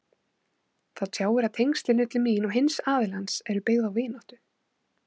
Það tjáir að tengslin milli mín og hins aðilans eru byggð á vináttu.